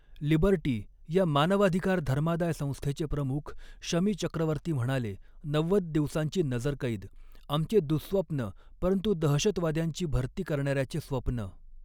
Liberty या मानवाधिकार धर्मादाय संस्थेचे प्रमुख शमी चक्रवर्ती म्हणाले, नव्वद दिवसांची नजरकैद, आमचे दुहस्वप्न परंतु दहशतवाद्यांची भरती करणाऱ्याचे स्वप्न.